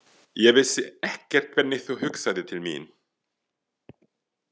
Ég vissi ekkert hvernig þú hugsaðir til mín.